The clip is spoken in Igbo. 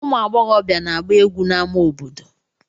Ụmụ agbọghọbịa na-agba egwu n'amá obodo.